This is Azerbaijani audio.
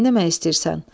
"Nə eləmək istəyirsən?"